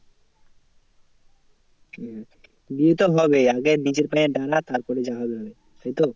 হ্যাঁ বিয়েতো হবেই আগে নিজের পায়ে দাঁড়া তারপরে যা হবে হবে, তাইতো?